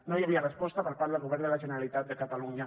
no hi havia resposta per part del govern de la generalitat de catalunya